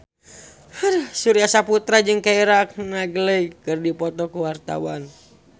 Surya Saputra jeung Keira Knightley keur dipoto ku wartawan